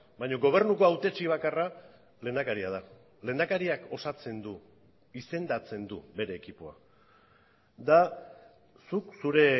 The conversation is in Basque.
baina gobernuko hautetxe bakarra lehendakaria da lehendakariak osatzen du izendatzen du bere ekipoa da zuk zure